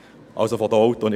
Jetzt ist die Frage: